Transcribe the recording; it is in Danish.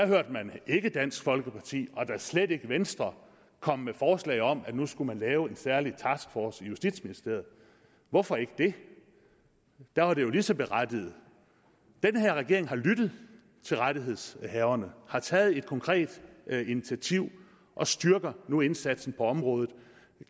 hørte man ikke dansk folkeparti og da slet ikke venstre komme med forslag om at man skulle lave en særlig taskforce i justitsministeriet hvorfor ikke det der var det jo lige så berettiget den her regering har lyttet til rettighedshaverne har taget et konkret initiativ og styrker nu indsatsen på området